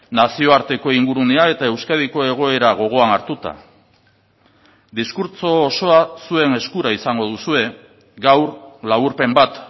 nazioarteko ingurunea eta euskadiko egoera gogoan hartuta diskurtso osoa zuen eskura izango duzue gaur laburpen bat